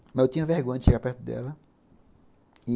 Mas eu tinha vergonha de chegar perto dela.